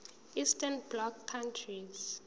eastern bloc countries